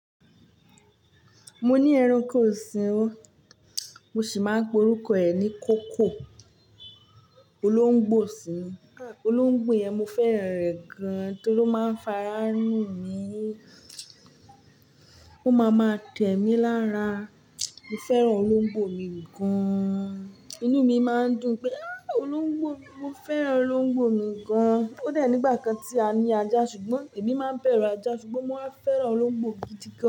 Mo ní ẹranko ọ̀sìn, mo sì máa ń pe orúkọ ẹ̀ ní koko. Olóńgbò sì ni, olóńgbò yẹn mo fẹ́ràn rẹ̀ gan-an torí ó máa ń fara nù mí. Ó ma ma tẹ̀ mí lára. Mo fẹ́ràn olóńgbò mi gan-an. Inú mi máa ń dùn pé, á! Olóńgbò, mo fẹ́ràn olóńgbò mi gan-an. Ó dà nígbà kan tí a ní ajá ṣùgbọ́n èmi máa ń bẹ̀rù ajá ṣùgbọ́n mo máa fẹ́ràn olóńgbò gidi gan.